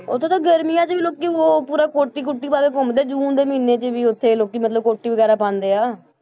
ਉੱਥੇ ਤਾਂ ਗਰਮੀਆਂ 'ਚ ਵੀ ਲੋਕੀ ਉਹ ਪੂਰਾ ਕੋਟੀ ਕੂਟੀ ਪਾ ਕੇ ਘੁੰਮਦੇ ਜੂਨ ਦੇ ਮਹੀਨੇ 'ਚ ਵੀ, ਉੱਥੇ ਲੋਕੀ ਮਤਲਬ ਕੋਟੀ ਵਗ਼ੈਰਾ ਪਾਉਂਦਾ ਹੈ,